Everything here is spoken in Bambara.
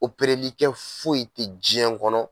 Oprerlikɛ foyi te jiɲɛn kɔnɔ